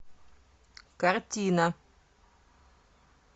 картина